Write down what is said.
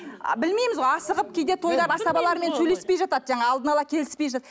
білмейміз ғой асығып кейде тойлар асабалармен сөйлеспей жатады жаңағы алдына ала келіспей